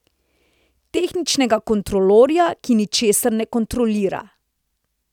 Tehničnega kontrolorja, ki ničesar ne kontrolira.